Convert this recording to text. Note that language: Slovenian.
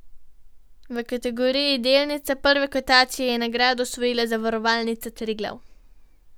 V kategoriji delnica prve kotacije je nagrado osvojila Zavarovalnica Triglav.